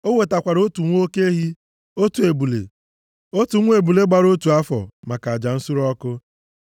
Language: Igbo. O wetakwara otu nwa oke ehi, otu ebule, otu nwa ebule gbara otu afọ maka aja nsure ọkụ.